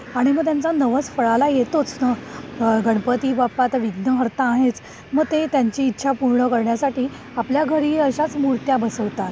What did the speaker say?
आणि मग त्यांचा नवस फळाला येतोच. गणपतीबाप्पा तर विघ्नहर्ता तर आहेच. मग ते त्यांची इच्छा पूर्ण करण्यासाठी आपल्या घरी अशाच मूर्ती बसवतात.